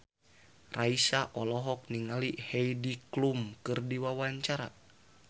Raisa olohok ningali Heidi Klum keur diwawancara